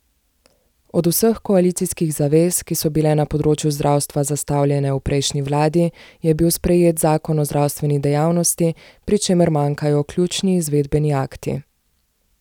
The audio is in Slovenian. Od vseh koalicijskih zavez, ki so bile na področju zdravstva zastavljene v prejšnji vladi, je bil sprejet zakon o zdravstveni dejavnosti, pri čemer manjkajo ključni izvedbeni akti.